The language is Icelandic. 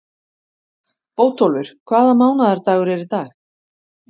Bótólfur, hvaða mánaðardagur er í dag?